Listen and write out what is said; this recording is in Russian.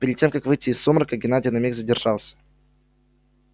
перед тем как выйти из сумрака геннадий на миг задержался